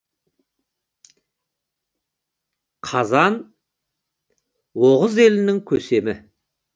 қазан оғыз елінің көсемі